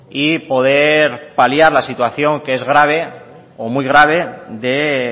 y poder paliar la situación que es grave o muy grave de